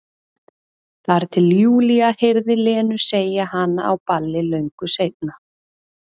Þar til Júlía heyrði Lenu segja hana á balli löngu seinna.